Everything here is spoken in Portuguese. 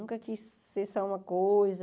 Nunca quis ser só uma coisa.